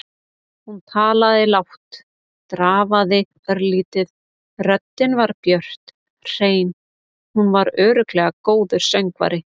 Hún talaði lágt, drafaði örlítið, röddin var björt, hrein- hún var örugglega góður söngvari.